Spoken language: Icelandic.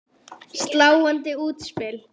Sláandi útspil.